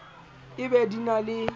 e be di na le